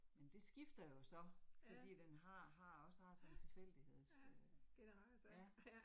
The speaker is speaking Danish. Men det skifter jo så, fordi at den har har også har sådan en tilfældigheds øh ja